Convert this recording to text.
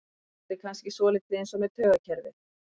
Þetta er kannski svolítið eins með taugakerfið.